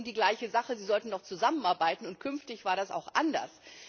Es geht um die gleiche Sache, Sie sollten doch zusammenarbeiten, und künftig war das auch anders.